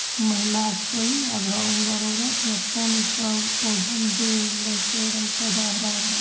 महिला छे कोई पानी सब पौधा में दे रहलो छो एकदम पौधा हरा-भरा।